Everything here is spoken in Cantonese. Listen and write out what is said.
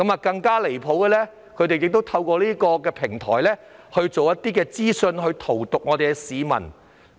更離譜的是，他們透過議會的平台散播一些信息荼毒市民。